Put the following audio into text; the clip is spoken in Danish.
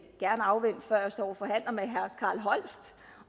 gerne afvente før jeg står